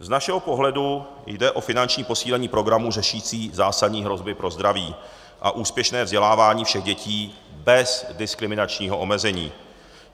Z našeho pohledu jde o finanční posílení programu řešící zásadní hrozby pro zdraví a úspěšné vzdělávání všech dětí bez diskriminačního omezení.